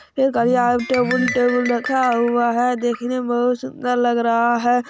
ये घड़िया या टेबुल टेबुल रखा हुआ है। देखने मे बहुत सुंदर लग रहा है।